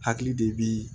Hakili de bi